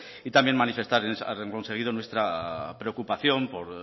y también manifestar a renglón seguido nuestra preocupación por